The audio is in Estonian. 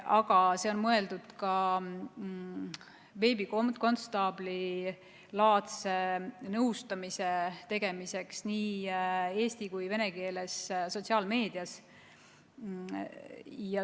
Aga see on mõeldud ka veebikonstaablilaadse nõustamise võimaldamiseks nii eesti- kui ka venekeelses sotsiaalmeedias.